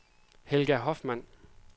Helga Hoffmann